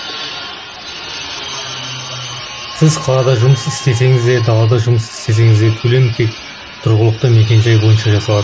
сіз қалада жұмыс істесеңіз де далада жұмыс істесеңіз де төлем тек тұрғылықты мекенжай бойынша жасалады